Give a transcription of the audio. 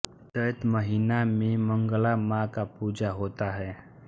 चैत महिना में मंगला मां का पूजा होता है